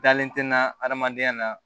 Dalen tɛ n na adamadenya na